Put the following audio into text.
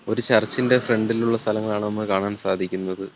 ഒരു ചർച്ചിന്റെ ഫ്രണ്ടിലുള്ള സ്ഥലങ്ങളാണ് നമുക്ക് കാണാൻ സാധിക്കുന്നത്.